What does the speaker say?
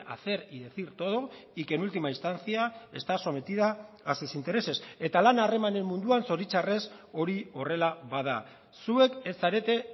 hacer y decir todo y que en última instancia está sometida a sus intereses eta lana harremanen munduan zoritxarrez hori horrela bada zuek ez zarete